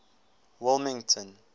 wilmington